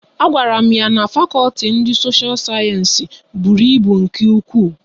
A gwara m ya na fakọlti ndị sosha sayensị bụrụ ịbụ nke ụkwụ